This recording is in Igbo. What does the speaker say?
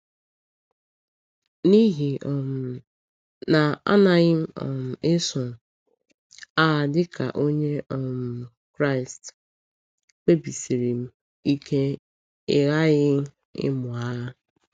N’ihi um na anaghị m um eso agha dịka Onye um Kraịst, kpebisiri m ike ịghaghị ịmụ agha.